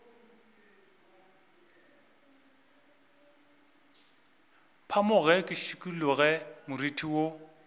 phamoge ke šikologe moriti wo